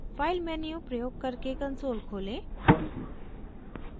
file menu प्रयोग करके console खोलें